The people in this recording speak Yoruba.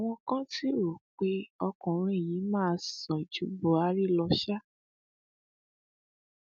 àwọn kan sì rò pé ọkùnrin yìí máa sàn ju buhari lọ ṣá